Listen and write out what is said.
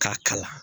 K'a kalan